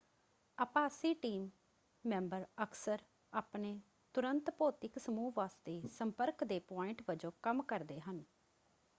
ਆਭਾਸੀ team member ਅਕਸਰ ਆਪਣੇ ਤੁਰੰਤ ਭੌਤਿਕ ਸਮੂਹ ਵਾਸਤੇ ਸੰਪਰਕ ਦੇ ਪੁਆਇੰਟ ਵਜੋਂ ਕੰਮ ਕਰਦੇ ਹਨ।